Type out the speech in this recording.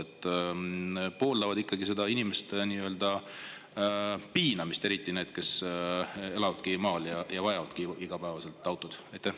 Kas nad pooldavad seda inimeste nii-öelda piinamist, eriti nende, kes elavad maal ja vajavadki igapäevaselt autot?